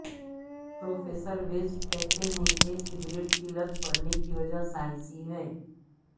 professor West کہتے ہیں کہ سگریٹ کی لت پڑنے کی وجہ سائنسی ہے